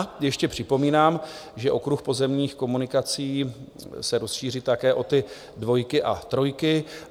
A ještě připomínám, že okruh pozemních komunikací se rozšíří také o ty dvojky a trojky.